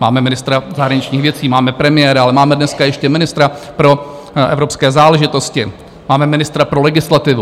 Máme ministra zahraničních věcí, máme premiéra, ale máme dneska ještě ministra pro evropské záležitosti, máme ministra pro legislativu.